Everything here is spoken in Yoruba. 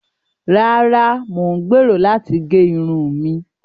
Ràrà, Mo n gbero lati ge irun mi